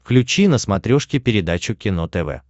включи на смотрешке передачу кино тв